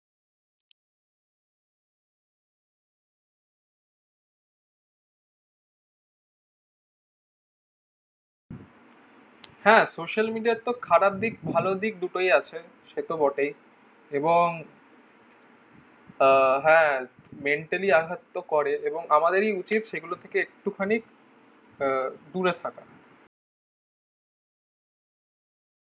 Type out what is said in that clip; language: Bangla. হ্যাঁ social media তো খারাপ দিক ভালো দিক দুটোই আছে সে তো বটেই এবং আহ হ্যাঁ mentally আঘাত তো করেই এবং আমাদেরই উচিত সেগুলো থেকে একটুখানি আহ দূরে থাকা